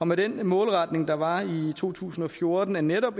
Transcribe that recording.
med den målretning der var i to tusind og fjorten af netop